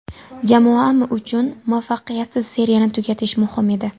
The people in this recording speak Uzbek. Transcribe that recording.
Jamoam uchun muvaffaqiyatsiz seriyani tugatish muhim edi.